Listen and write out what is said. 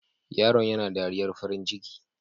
Yaron yana dariyar farin ciki.